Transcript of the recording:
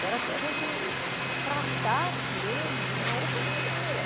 Para que a gente tratasse ele de uma outra maneira.